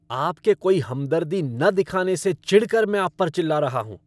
आपके कोई हमदर्दी न दिखाने से चिढ़ कर मैं आप पर चिल्ला रहा हूँ।